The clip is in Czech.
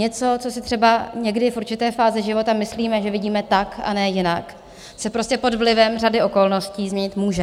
Něco, co si třeba někdy v určité fázi života myslíme, že vidíme tak, a ne jinak, se prostě pod vlivem řady okolností změnit může.